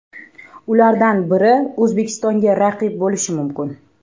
Ulardan biri O‘zbekistonga raqib bo‘lishi mumkin.